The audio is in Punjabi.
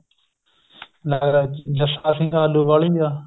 ਨਾਗਰਾਜ ਜੱਸਾ ਸਿੰਘ ਅਲੁਵਾਲਿਆ